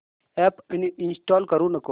app uninstall करू नको